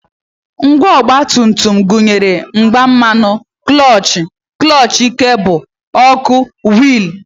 Ngwa ọgbatumtum gụnyere igbe mmanụ, klọọchị, klọọchị kebụl, ọkụ, wiilụ